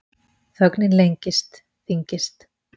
Þögnin lengist, þyngist.